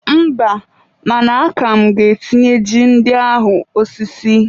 Mba, mana aka m ga-etinyere ji ndị ahụ osisi.